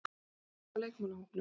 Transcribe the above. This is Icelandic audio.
Byrjum á leikmannahópnum.